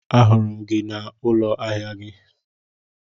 A hụrụ gị ka I nọ n'ụlọ ahịa gị